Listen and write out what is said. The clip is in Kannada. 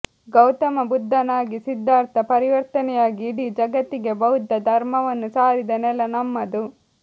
ಗೌತಮ ಬುದ್ಧನಾಗಿ ಸಿದ್ದಾರ್ಥ ಪರಿವರ್ತನೆಯಾಗಿ ಇಡೀ ಜಗತ್ತಿಗೆ ಬೌದ್ಧ ಧರ್ಮವನ್ನು ಸಾರಿದ ನೆಲ ನಮ್ಮದು